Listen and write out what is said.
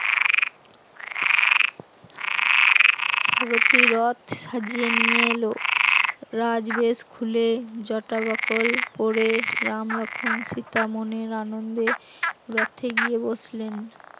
রথী রথ সাজিয়ে নিয়ে এলো, রাজবেশ খুলে যটা বাকল পড়ে রাম লক্ষণ সীতা মনের আনন্দে রথে গিয়ে বসলেন